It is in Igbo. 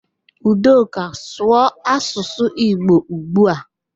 Udoka, sụọ asụsụ Igbo ugbu a!